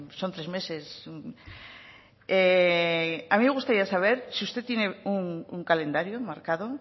son tres meses a mí me gustaría saber si usted tiene un calendario marcado